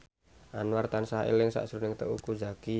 Anwar tansah eling sakjroning Teuku Zacky